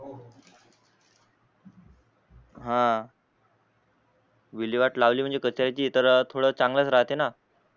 हा विल्हेवाट लावली म्हणजे कचऱ्याची तर थोड चांगलच राहते ना